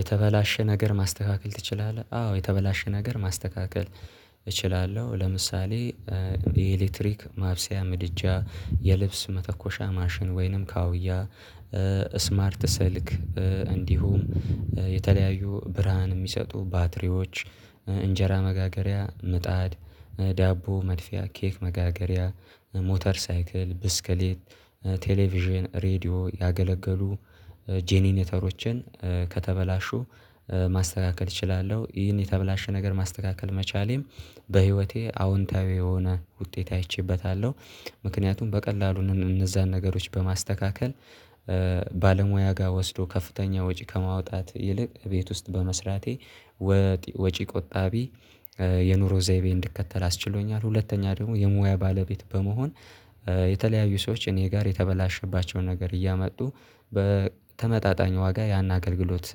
የተበላሸ ነገር ማስተካከል ትችላለህ? አዎ የተበላሸ ነገር ማስተካከል እችላለሁ ለምሳሌ የኤሌክትሪክ ማብሰያ ምድጃ የልብስ መተኮሻ ማሽን ወይንም ካአውያ ስማርት ስልክ እንዲሁም የተለያዩ ብርሃን የሚሰጡ ባትሪዎች እንጀራ መጋገሪያ ምጣድ ዳቦ መድፊያ ኬክ መጋገሪያ ሞተር ሳይክል ብስክሌት ቴሌቪዥን ሬድዮ ያገለገሉ ጄኔኔተሮችን ከተበላሹ ማስተካከል እችላለሁ ይህን የተበላሸ ነገር ማስተካከል መቻሌም በህይወቴ አዎንታዊ የሆነ ውጤት አይቼበታለሁ ምክንያቱም በቀላሉ እነዛን ነገሮች በማስተካከል ባለሙያ ጋር ወስዶ ከፍተኛ ወጪ ከማውጣት ይልቅ ቤት ውስጥ በመስራቴ ወጪ ቆጣቢ። የኑሮ ዘይቤ እንድከተል አስችሎኛል። ሁለተኛ ደግሞ የሙያ ባለቤት በመሆን የተለያዩ ሰዎች እኔ ጋር የተበላሸባቸውን ነገር እያመጡ በተመጣጣኝ ዋጋ ያን አገልግሎት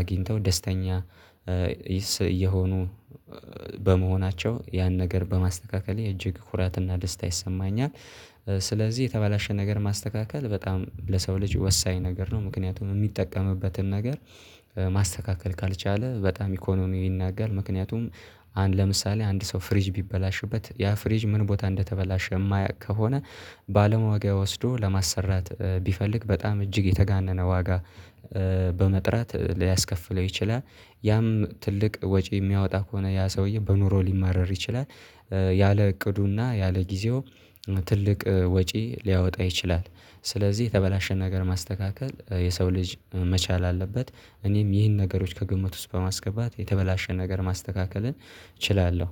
አግኝተው ደስተኛ እየሆኑ በመሆናቸው ያን ነገር በማስተካከሌ እጅግ ኩራትና ደስታ ይሰማኛል። ስለዚህ የተባለሽ ነገር ማስተካከል በጣም ለሰው ልጅ ወሳኝ ነገር ነው። ምክንያቱም የሚጠቀምበትን ነገር ማስተካከል ካልቻለ በጣም ኢኮኖሚ ይናገራል ምክንያቱም አንድ ለምሳሌ አንድ ሰው ፍሪጅ ቢበላሽበት ያ ፍሪጅ ምን ቦታ እንደተበላሸ የማያውቅ ከሆነ ባለሟያ ጋ ወስዶ ለማሰራት ቢፈልግ በጣም እጅግ የተጋነነ ዋጋ በመጥራት ሊያስከፍለው ይችላል ያም ትልቅ ወጪ የሚያወጣ ከሆነ ያ ሰውዬ በኑሮ ሊማረር ይችላል። ያለ እቅዱና ያለ ጊዜው ትልቅ ወጪ ሊያወጣ ይችላል። ስለዚህ የተበላሸ ነገር ማስተካከል የሰው ልጅ መቻል አለበት። እኔም ይህን ነገሮች ከግምት ውስጥ በማስገባት የተበላሸ ነገር ማስተካከልን እችላለሁ።